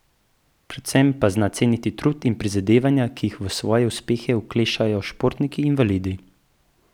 Predvsem pa zna ceniti trud in prizadevanja, ki jih v svoje uspehe vklešejo športniki invalidi.